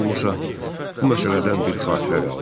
heç olmasa bu məsələdən bir xatirə qaldı.